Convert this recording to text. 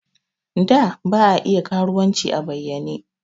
Da ba a iya karuwanci a bayyane.